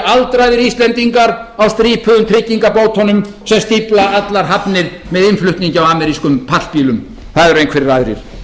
aldraðir íslendingar á strípuðum tryggingabótunum sem stífla allar hafnir með innflutningi á amerískum pallbílum það eru einhverjir aðrir